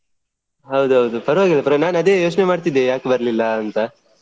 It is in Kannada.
ಹೌದು ಹೌದು ಪರ್ವಾಗಿಲ್ಲ ನಾನ್ ಅದೇ ಯೋಚ್ನೆ ಮಾಡ್ತಿದ್ದೆ ಯಾಕ್ ಬರ್ಲಿಲ್ಲ ಅಂತಾ.